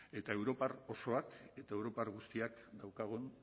eta europar osoak eta europar guztiak daukagun